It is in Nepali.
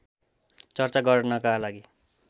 चर्चा गर्नका लागि